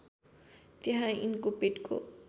त्यहाँ यिनको पेटको